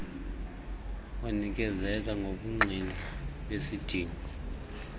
banikezele ngobungqina besidingo